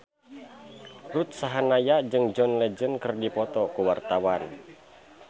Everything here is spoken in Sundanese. Ruth Sahanaya jeung John Legend keur dipoto ku wartawan